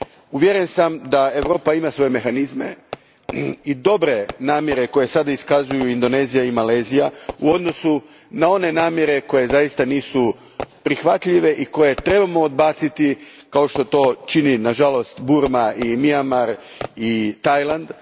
Uvjeren sam da Europa ima svoje mehanizme i dobre namjere koje sada iskazuju Indonezija i Malezija u odnosu na one namjere koje zaista nisu prihvatljive i koje trebamo odbaciti kao što to čine nažalost Burma i Mijanmar i Tajland.